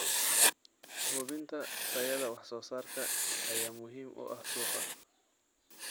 Hubinta tayada wax soo saarka ayaa muhiim u ah suuqa.